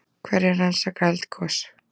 Hverjir rannsaka eldgos?